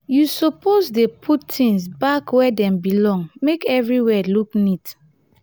you suppose dey put tins back where dem belong make everywhere look neat.